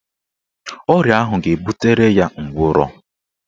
Ọrịa ahụ ga-ebutere ya nkwarụ